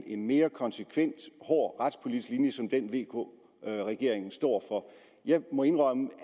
en mere konsekvent hård retspolitisk linje som den vk regeringen står for jeg må indrømme